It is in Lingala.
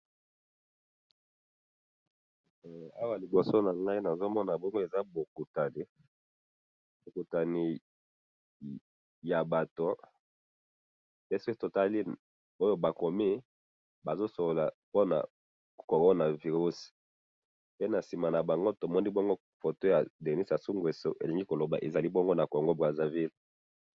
Awa liboso na ngayi nazomona bongo eza bokutani, bokutani ya Bato, pe soki totali Oyo bakomi, bazosolola pona corona virus, pe na sima na bango tomoni bongo photo ya Denis Sassou-Nguesso, elingi koloba ezali bongo na Congo Brazzaville.